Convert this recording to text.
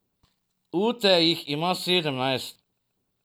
Ute jih ima sedemnajst!